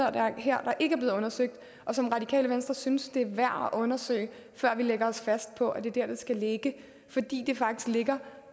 her der ikke er blevet undersøgt og som radikale venstre synes det er værd at undersøge før vi lægger os fast på at det er der det skal ligge fordi det faktisk ligger